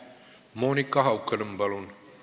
Monika Haukanõmm, palun!